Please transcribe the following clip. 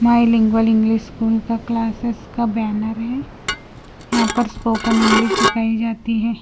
Lingual English school का classes का banner है यहां पर स्पोकन इंग्लिश सिखाई जाती है।